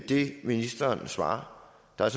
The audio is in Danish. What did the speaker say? det ministeren svarer der er